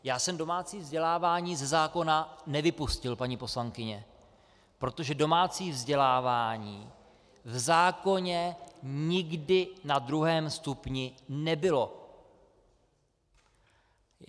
Já jsem domácí vzdělávání ze zákona nevypustil, paní poslankyně, protože domácí vzdělávání v zákoně nikdy na druhém stupni nebylo.